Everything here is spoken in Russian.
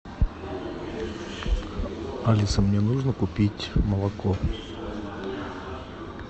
алиса мне нужно купить молоко